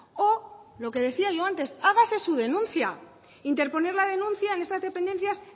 o lo que decía yo antes hágase su denuncia interponer la denuncia en estas dependencias